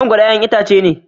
Mangoro ƴaƴan itace ne.